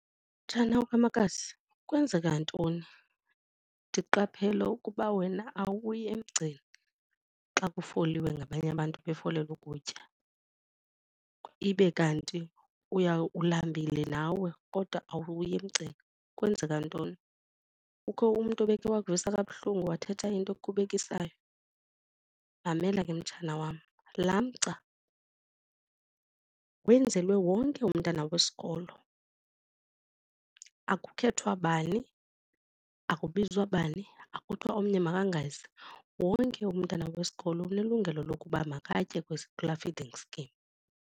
Mtshana kamakazi, kwenzeka ntoni? Ndiqaphele ukuba wena awuyi emgceni xa kufoliwe ngabanye abantu befolele ukutya ibe kanti ulambile nawe kodwa awuyi emgceni. Kwenzeka ntoni, kukho umntu obekhe wakuvisa kabuhlungu wathetha into ekukhubekisayo? Mamela ke mtshana wam, laa mgca wenzelwe wonke umntana wesikolo, akukhethwa bani, akubizwa bani, akuthiwa omnye makangezi. Wonke umntana wesikolo unelungelo lokuba makatye kula feeding scheme.